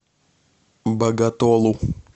боготолу